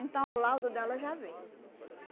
Então, o laudo dela já veio.